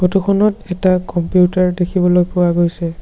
Photo খনত এটা computer দেখিবলৈ পোৱা গৈছে।